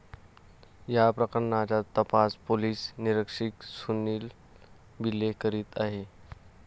या प्रकरणाचा तपास पोलीस निरीक्षक सुनील बिले करीत आहेत.